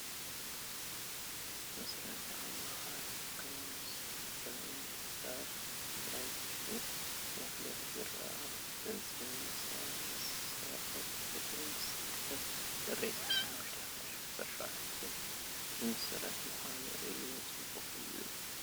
ምስረታ ኣማኻሪ ካውንስል ግዚያዊ ምምሕዳር ትግራ ዝብል መፋለጢ ይርአ ኣሎ፡፡ በዚ መሰረት እቲ ምስረታ ጥሪ25/2017 ዝምስረት ምዃኑ እዩ፡፡ ፅቡቕ እዩ፡፡